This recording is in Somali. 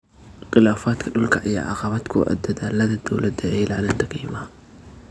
Khilaafaadka dhulka ayaa caqabad ku ah dadaallada dowladda ee ilaalinta keymaha.